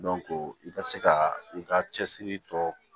i ka se ka i ka cɛsiri tɔ